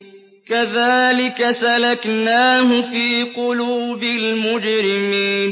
كَذَٰلِكَ سَلَكْنَاهُ فِي قُلُوبِ الْمُجْرِمِينَ